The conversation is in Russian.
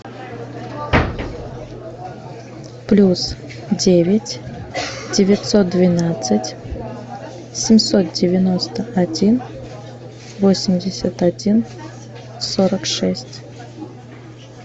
плюс девять девятьсот двенадцать семьсот девяносто один восемьдесят один сорок шесть